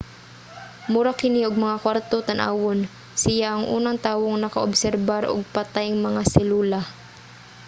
mura kini og mga kwarto tan-awon. siya ang unang tawong naka-obserbar og patayng mga selula